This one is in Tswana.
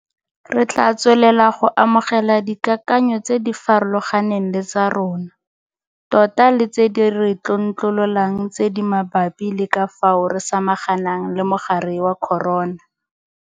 Re tla tswelela go amogela dikakanyo tse di farologaneng le tsa rona tota le tse di re tlontlololang tse di mabapi le ka fao re samaganang le mogare wa corona.